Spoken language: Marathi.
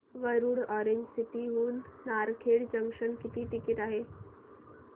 वरुड ऑरेंज सिटी हून नारखेड जंक्शन किती टिकिट आहे